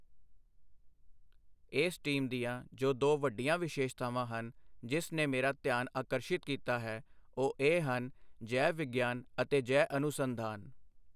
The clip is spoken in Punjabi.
ਇਸ ਟੀਮ ਦੀਆਂ ਜੋ ਦੋ ਵੱਡੀਆਂ ਵਿਸ਼ੇਸ਼ਤਾਵਾਂ ਹਨ, ਜਿਸ ਨੇ ਮੇਰਾ ਧਿਆਨ ਆਕਰਸ਼ਿਤ ਕੀਤਾ ਹੈ, ਉਹ ਇਹ ਹਨ ਜੈ ਵਿਗਿਆਨ ਅਤੇ ਜੈ ਅਨੁਸੰਧਾਨ।